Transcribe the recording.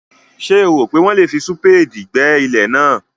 Ṣé o rò pé wọ́n lè fi súpéèdì gbẹ́ ilẹ̀ náà?